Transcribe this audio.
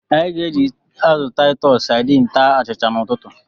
Anyị ga-eji azụ Titus Sadin taa achịcha n'ụtụtụ.